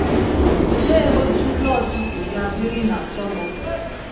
Olee otú Lọt si gaa biri na Sọdọm?